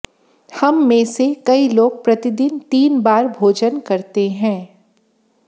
हम में से कई लोग प्रतिदिन तीन बार भोजन करते हैं